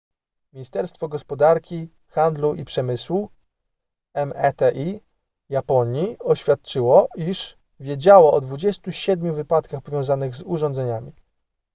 ministerstwo gospodarki handlu i przemysłu meti japonii oświadczyło iż wiedziało o 27 wypadkach powiązanych z urządzeniami